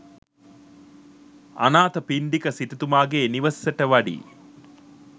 අනාථපිණ්ඩික සිටුතුමාගේ නිවසට වඩියි.